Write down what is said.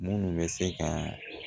Munnu bɛ se ka